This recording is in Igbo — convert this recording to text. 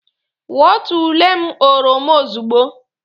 Wọtuole m oroma ozugbo!